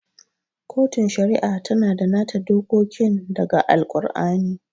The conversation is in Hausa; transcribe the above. Kotun Shari'a tana da nata dokokin da ga Al-kur'ani